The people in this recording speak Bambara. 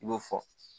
I b'o fɔ